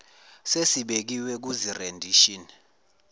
sesibekiwe kuzi rendition